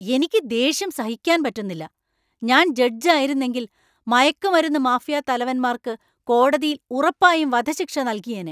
എനിക്ക് ദേഷ്യം സഹിക്കാൻ പറ്റുന്നില്ല, ഞാൻ ജഡ്ജ് ആയിരുന്നെങ്കിൽ , മയക്കുമരുന്ന് മാഫിയാ തലവന്മാർക്ക് കോടതിയിൽ ഉറപ്പായും വധശിക്ഷ നൽകിയേനെ.